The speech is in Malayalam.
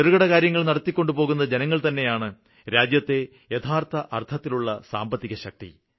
ചെറുകിടകാര്യങ്ങള് നടത്തിക്കൊണ്ടുപോകുന്ന ജനങ്ങള്തന്നെയാണ് രാജ്യത്തെ യഥാര്ത്ഥ അര്ത്ഥത്തിലുള്ള സാമ്പത്തികശക്തി